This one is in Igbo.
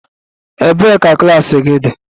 Ebee ka klas gị dị?